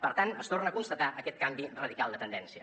per tant es torna a constatar aquest canvi radical de tendència